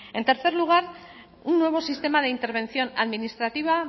en tercer lugar un nuevo sistema de intervención administrativa